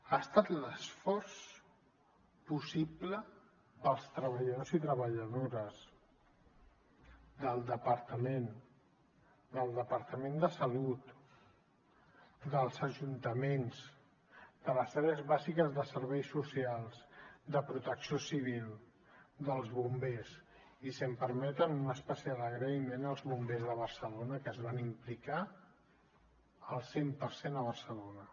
ha estat un esforç possible pels treballadors i treballadores del departament del departament de salut dels ajuntaments de les àrees bàsiques de serveis socials de protecció civil dels bombers i si em permeten un especial agraïment als bombers de barcelona que es van implicar al cent per cent a barcelona